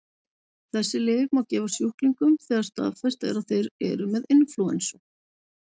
Þessi lyf má gefa sjúklingum þegar staðfest er að þeir eru með inflúensu.